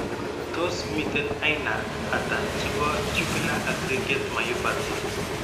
Tos miten aina ata chebo tubular aggregate myopathy ?